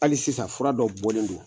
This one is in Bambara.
Hali sisan fura dɔ bɔlen don